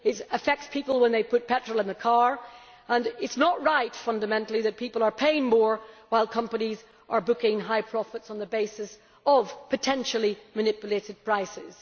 It affects people when they put petrol in the car and it is not right, fundamentally, that people are paying more while companies are booking high profits on the basis of potentially manipulated prices.